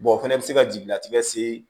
o fɛnɛ bɛ se ka jigilatigɛ se